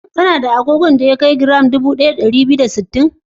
Kana da agogon da ya kai nauyin giram dubu ɗaya da ɗari biyu da sittin?